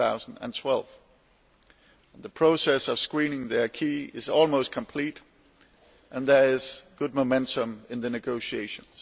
2012. The process of screening the acquis is almost complete, and there is good momentum in the negotiations.